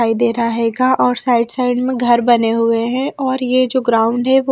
दिखाई दे रहा है गा और साइड साइड में घर बने हुए हैं और ये जो ग्राउंड है वो--